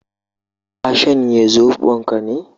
Ka shanye Zobon ka ne?